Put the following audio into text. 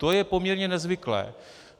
To je poměrně nezvyklé.